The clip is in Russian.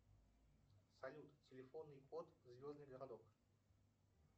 салют телефонный код звездный городок